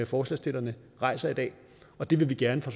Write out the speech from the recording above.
forslagsstillerne rejser i dag og det vil vi gerne fra